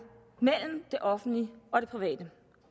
mellem det offentlige og det private